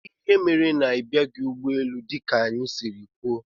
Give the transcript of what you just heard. Kedụ ihe mere na ibiaghi ụgbọ élú dika anyị siri kwụọ?